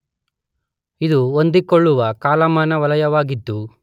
ಇದು ಹೊಂದಿಕೊಳ್ಳುವ ಕಾಲಮಾನ ವಲಯವಾಗಿದ್ದು